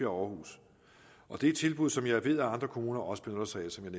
århus og det er tilbud som jeg ved at andre kommuner også benytter sig af som jeg